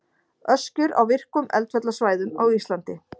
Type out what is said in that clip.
Öskjur á virkum eldfjallasvæðum á Íslandi.